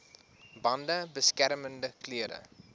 bande beskermende klere